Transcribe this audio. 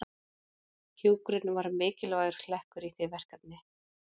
Hjúkrun var mikilvægur hlekkur í því verkefni.